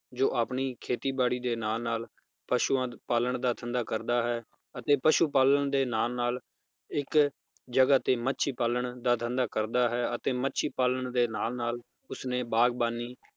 ਜੋ ਆਪਣੀ ਖੇਤੀ ਬਾੜੀ ਦੇ ਨਾਲ ਨਾਲ ਪਸ਼ੂਆਂ ਪਾਲਣ ਦਾ ਧੰਦਾ ਕਰਦਾ ਹੈ ਅਤੇ ਪਸ਼ੂ ਪਾਲਣ ਦੇ ਨਾਲ ਨਾਲ ਇਕ ਜਗਾਹ ਤੇ ਮੱਛੀ ਪਾਲਣ ਦਾ ਧੰਦਾ ਕਰਦਾ ਹੈ, ਅਤੇ ਮੱਛੀ ਪਾਲਣ ਦੇ ਨਾਲ ਨਾਲ ਉਸਨੇ ਬਾਗ਼ਬਾਨੀ